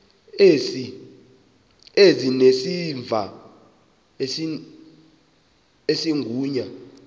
ezinesimamva esingu ya